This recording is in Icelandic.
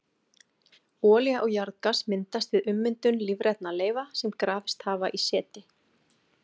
Olía og jarðgas myndast við ummyndun lífrænna leifa sem grafist hafa í seti.